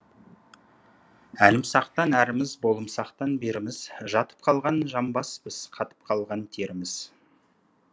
әлімсақтан әріміз болымсақтан беріміз жатып қалған жамбаспыз қатып қалған теріміз